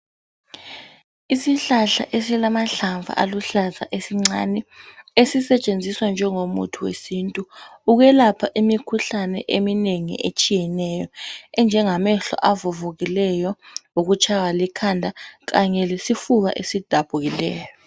Isihlahla esilamahlamvu aluhlaza esincane esisetshenziswa njengomuthi wesintu ukwelapha imikhuhlane eminengi etshiyeneyo enjengamehlo avuvukileyo loku tshaywa likhanda kanye lesifuna esidabukileyo